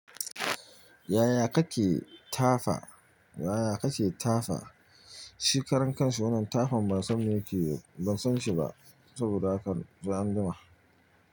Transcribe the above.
Yaya kake tafa? Yaya kake tafa? Shi karan kanshi wannan littafin ban san me yake, ban san shi ba saboda haka sai anjima.